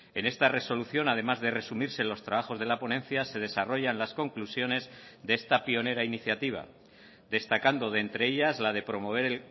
en esta resolución además de resumirse los trabajos de la ponencia se desarrollan las conclusiones de esta pionera iniciativa destacando de entre ellas la de promover